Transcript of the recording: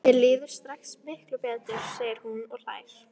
Mér líður strax miklu betur, segir hún og hlær.